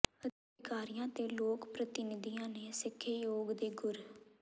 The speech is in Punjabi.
ਅਧਿਕਾਰੀਆਂ ਤੇ ਲੋਕ ਪ੍ਰਤੀਨਿਧੀਆਂ ਨੇ ਸਿੱਖੇ ਯੋਗ ਦੇ ਗੁਰ